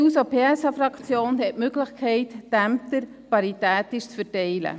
Die SP-JUSO-PSA-Fraktion hat die Möglichkeit, die Ämter paritätisch zu verteilen.